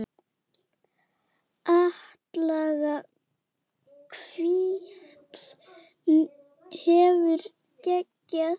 Atlaga hvíts hefur geigað.